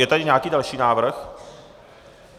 Je tady nějaký další návrh?